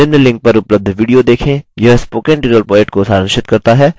निम्न link पर उपलब्ध video देखें